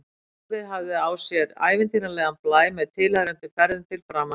Starfið hafði á sér ævintýralegan blæ, með tilheyrandi ferðum til framandi landa.